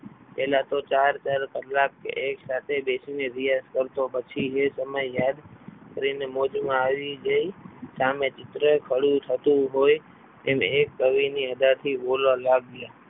પહેલા તો ચાર ચાર કલાક એક સાથે બેસીને રિયાઝ કરતો પછી એ સમય યાદ કરીને મોજમાં આવી જઈ સામે ચિત્ર ખડું થતું હોય એમ એક કવિની અદાથી બોલવા લાગ્યા.